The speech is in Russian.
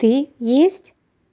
ты есть